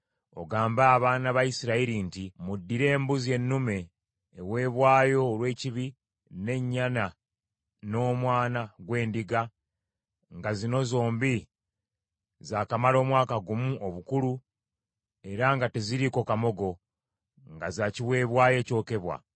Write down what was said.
Ogambe abaana ba Isirayiri nti, ‘Muddire embuzi ennume eweebwayo olw’ekibi, n’ennyana n’omwana gw’endiga, nga zino zombi zaakamala omwaka gumu obukulu era nga teziriiko kamogo, nga za kiweebwayo ekyokebwa;